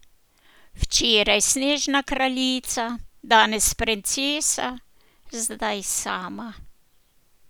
Včeraj snežna kraljica, danes princesa, zdaj sama.